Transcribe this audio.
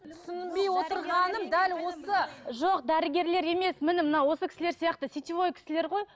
жоқ дәрігерлер емес міне мына осы кісілер сияқты сетевой кісілер ғой